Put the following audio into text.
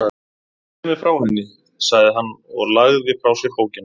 Segðu mér frá henni, sagði hann og lagði frá sér bókina.